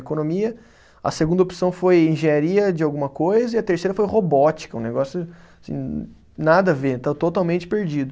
Economia, a segunda opção foi engenharia de alguma coisa, e a terceira foi robótica, um negócio, assim, nada a ver, totalmente perdido.